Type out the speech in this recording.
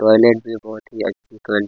toilet भी बहुत ही अच्छी --